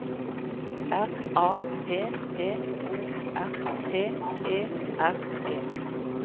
R A P P O R T E R E